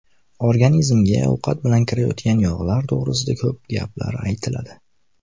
Organizmga ovqatlar bilan kirayotgan yog‘lar to‘g‘risida ko‘p gaplar aytiladi.